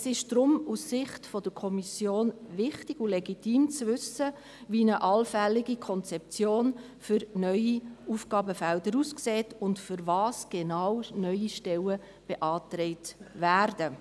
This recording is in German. Es ist deshalb aus Sicht der Kommission wichtig und legitim, wissen zu wollen, wie eine allfällige Konzeption neuer Aufgabenfelder aussieht und wozu genau neue Stellen beantragt werden.